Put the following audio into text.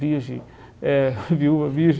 Virgem eh viúva virgem!